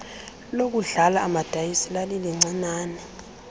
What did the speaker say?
lokudlala amadayisi lalilincinane